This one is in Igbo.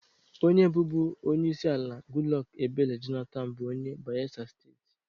Onye bụbu onyeisiala Goodluck Ebele Jonathan bụ onye Bayelsa Steeti